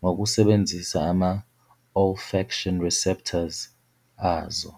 ngokusebenzisa ama-olfaction receptors azo.